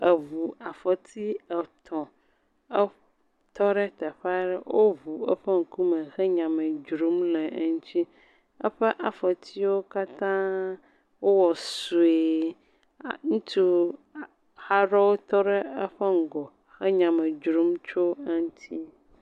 Eŋu afɔti etɔ̃. Etɔ ɖe teƒe aɖe woŋu eƒe ŋkume he nyame dzrom le eŋuti. Eƒe afɔtiwo katã wowɔ sue. A ŋutsu a aɖewo tɔ ɖe eƒe ŋgɔ he nya me dzrom tso eŋuti.